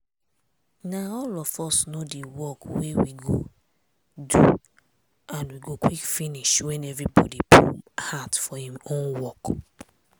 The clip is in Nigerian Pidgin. na all of us know di work wey we go do and we go quick finish wen evribodi put heart for im own work.